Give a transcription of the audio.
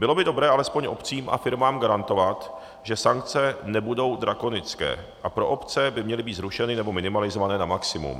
Bylo by dobré alespoň obcím a firmám garantovat, že sankce nebudou drakonické, a pro obce by měly být zrušeny nebo minimalizovány na maximum.